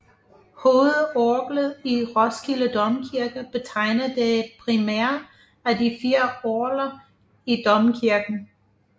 Hovedorglet i Roskilde Domkirke betegner det primære af de fire orgler i domkirken